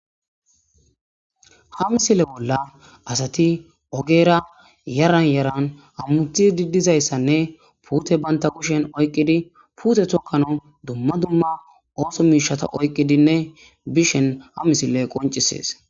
ha misile bolla asati ogeera yaran yaran hammuthi diddizayssanne puute banta kushen oyqqidi puute tokkano dumma dumma ooso miishata oyqqidinne bishen ha misile qoncisees